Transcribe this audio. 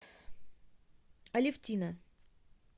алевтина